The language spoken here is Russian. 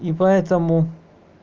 и поэтому